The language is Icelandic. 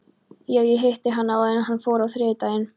Já, ég hitti hann áður en hann fór á þriðjudaginn.